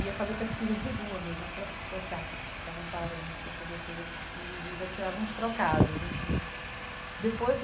ia fazer pesquisa de rua mesmo, aquelas pessoas chatas que ficavam parando pra poder fazer pesquisa, eles já tiravam uns trocados, enfim depois.